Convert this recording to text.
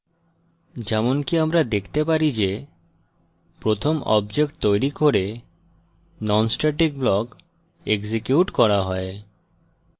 যেমনকি আমরা দেখতে পারি প্রথম object তৈরী করে non static block এক্সিকিউট করা হয়